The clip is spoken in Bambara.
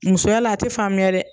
Musoya la a tɛ faamuya dɛ.